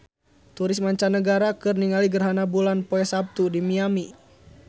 Turis mancanagara keur ningali gerhana bulan poe Saptu di Miami